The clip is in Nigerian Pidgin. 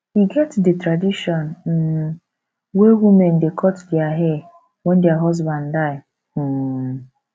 e get di tradition um wey women dey cut their hair wen their husband die um